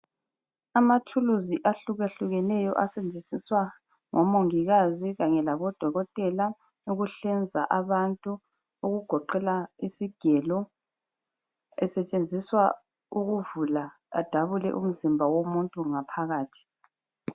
Amathuluzi ahlukehlukeneyo asetshenziswa ngo mongikazi kanye labo dokotela ukuhlinza abantu okugoqela isigelo. Sisetshenziswa ukuvula adabule umzimba womuntu ngaphakathi.